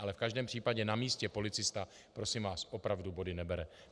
Ale v každém případě na místě policista prosím vás opravdu body nebere.